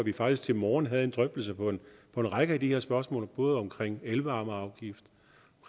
vi faktisk til morgen havde en drøftelse af en række af de her spørgsmål både om elvarmeafgift